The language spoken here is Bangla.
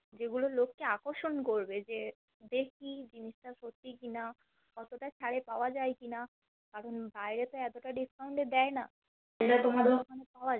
যেগুলা লোককে আকর্ষণ করবে যে দেখি জিনিসটা সত্যি কি না কতটা ছাড়ে পাওয়া যায় কি না কারণ বাহিরে তো এতটা discount এ দেয়না যেটা তোমাদের ওখানে পাওয়া যায়